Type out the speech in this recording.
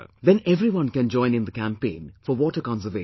Then everyone can join in the campaign for water conservation